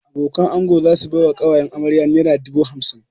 Abokanan ango za su bai wa ƙawayen amarya naira dubu hamsin